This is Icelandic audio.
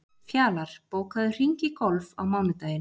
Fjalar, bókaðu hring í golf á mánudaginn.